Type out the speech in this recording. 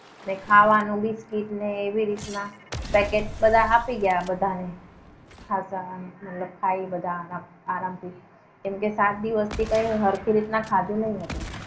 ને ખાવાનું બિસ્કીટ ને એવી રીતના પેકેટ આપી ગયા બધા બધાને. ખાધા મતલબ ખાઈને બધાને આરામથી કેમકે સાત દિવસથી કઈ હરખી રીતના ખાધું નહીં હતું.